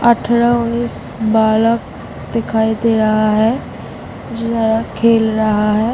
अठरह उन्नीस बालक दिखाई दे रहा है जिधर खेल रहा है।